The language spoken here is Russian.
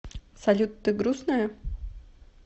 салют ты грустная